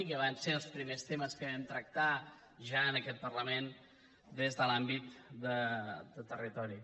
i que van ser els primers temes que vam tractar ja en aquest parlament des de l’àmbit de territori